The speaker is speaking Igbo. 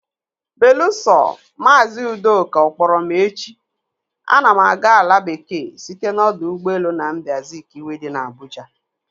Belusọ, maazị Udoka ọ kpọrọ m echi, ana m aga ala bekee site n'ọdọ ụgbọelu Nnamdi Azikiwe dị n'Abuja.